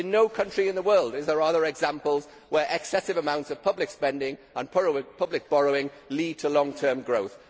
In no country in the world are there examples where excessive amounts of public spending and public borrowing lead to long term growth.